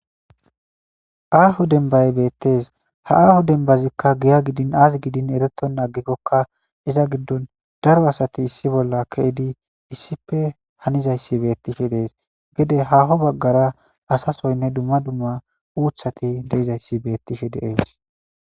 Aho dembay betes ha aho dembazika giya gidi izzi azi gidin eretonta agikoka pizza gidon daro asati issi bolla kezidi hanizaysi betishe des gede haho bagara asasoyne uthati de'izaysi betishe de'etes